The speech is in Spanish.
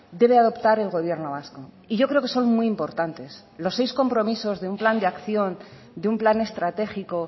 debe adoptar el gobierno vasco y yo creo que son muy importantes los seis compromisos de un plan de acción de un plan estratégico